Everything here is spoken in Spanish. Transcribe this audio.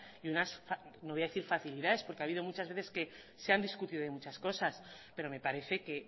y unas no voy a decir facilidades porque ha habido muchas veces que se han discutido de muchas cosas pero me parece que